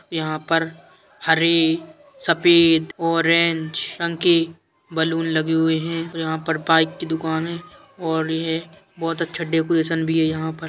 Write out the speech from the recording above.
यहाँ पर हरे सफेद ऑरेंज रंग के बलून लगे हुए हैं और यहाँ पर बाइक की दुकान है और ये बोहोत अच्छा डेकोरेशन भी है यहाँ पर।